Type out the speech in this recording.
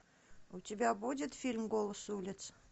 у тебя будет фильм голос улиц